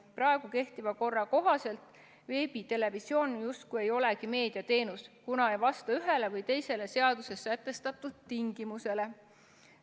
Praegu kehtiva korra kohaselt veebitelevisioon justkui ei olegi meediateenus, kuna ei vasta ühele või teisele seaduses sätestatud tingimusele.